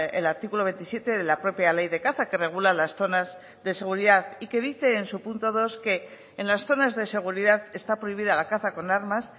el artículo veintisiete de la propia ley de caza que regula las zonas de seguridad y que dice en su punto dos que en las zonas de seguridad está prohibida la caza con armas